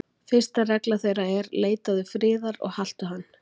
Fyrsta regla þeirra er: Leitaðu friðar og haltu hann.